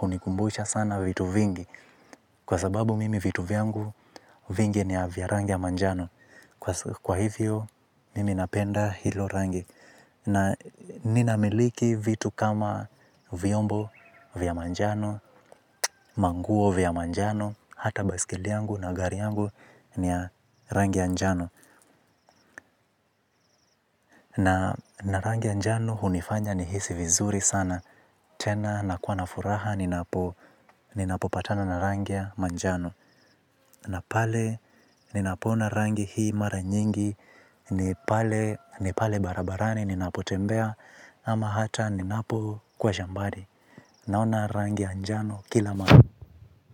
hunikumbusha sana vitu vingi. Kwa sababu mimi vitu vyangu vingi ni ya vya rangi ya manjano. Kwa hivyo mimi napenda hilo rangi na ninamiliki vitu kama vyombo vya manjano manguo vya manjano hata baisikeli na gari yangu ni ya rangi ya njano na rangi ya njano hunifanya nihisi vizuri sana tena nakuwa na furaha ninapopatana na rangi ya manjano na pale ninapoona rangi hii mara nyingi ni pale barabarani ninapotembea ama hata ninapokuwa shambani naona rangi ya njano kila mara.